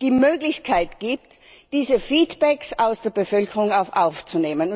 die Möglichkeit gibt, diese Feedbacks aus der Bevölkerung aufzunehmen.